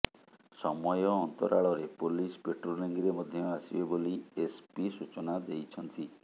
ସମୟ ଅନ୍ତରାଳରେ ପୋଲିସ ପାଟ୍ରୋଲିଂରେ ମଧ୍ୟ ଆସିବେ ବୋଲି ଏସପି ସୂଚନା ଦେଇଛନ୍ତି